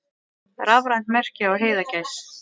Rafrænt merki á heiðagæs.